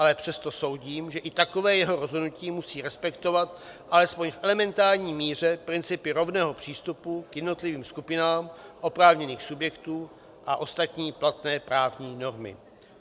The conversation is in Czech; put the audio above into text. Ale přesto soudím, že i takové jeho rozhodnutí musí respektovat alespoň v elementární míře principy rovného přístupu k jednotlivým skupinám oprávněných subjektů a ostatní platné právní normy.